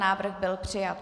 Návrh byl přijat.